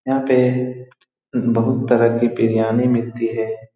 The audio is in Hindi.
यहाँ पे बहुत तरह की बिरयानी मिलती है।